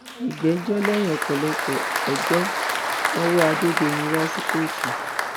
ìgbẹjọ lẹyìn ọpọlọpọ ọjọ wọn wọ adédọyìn wá sí kóòtù